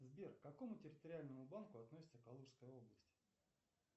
сбер к какому территориальному банку относится калужская область